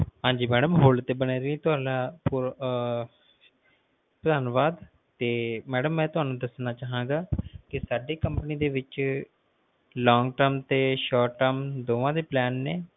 ਹਾਂਜੀ madam call ਤਾ ਬਣੇ ਰਹਿਣ ਲਈ ਧੰਨਵਾਦ ਤੇ ਮਈ ਤੁਹਾਨੂੰ ਦੱਸਣਾ ਚਾਹੁੰਗਾ ਕਿ ਸਾਡੀ company ਦੇ ਵਿਚ long-term ਤੇ short-term ਦੋਵਾਂ ਦੇ plan ਨੇ